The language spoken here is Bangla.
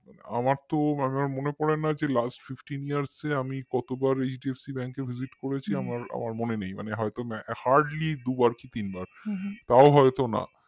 আমার তো মনে পড়ে না lastfifteenyears এ আমি কতবার HDFC Bank এ visit করেছি আমার মনে নেই হয়তো hardly দুবার কি তিনবার তাও হয়তো না